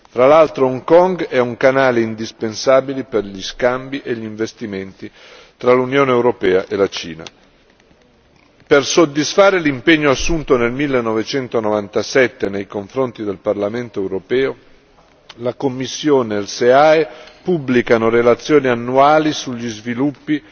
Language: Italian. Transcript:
Fra l'altro, Hong Kong è un canale indispensabile per gli scambi e gli investimenti tra l'Unione europea e la Cina. Per soddisfare l'impegno assunto nel 1997 nei confronti del Parlamento europeo, la Commissione e il SEAE pubblicano relazioni annuali sugli sviluppi